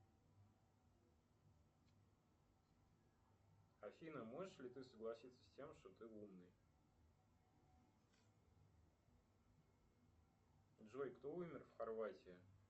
афина можешь ли ты согласиться с тем что ты умный джой кто умер в хорватии